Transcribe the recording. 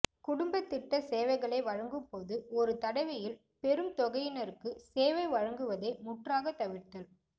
குடும்பத்திட்ட சேவைகளை வழங்கும்போது ஒருதடவையில் பெரும்தொகையினருக்குச் சேவை வழங்குவதை முற்றாகத் தவிர்த்தல்